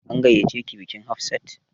An gayyace ki bikin Hafsat?